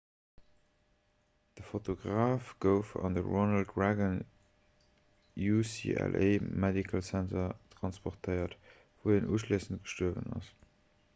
de fotograf gouf an de ronald reagan ucla medical center transportéiert wou hien uschléissend gestuerwen ass